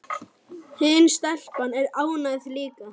Hin stelpan er ágæt líka